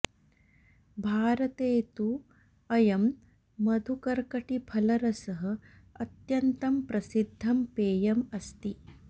भारते तु अयं मधुकर्कटीफलरसः अत्यन्तं प्रसिद्धं पेयम् अस्ति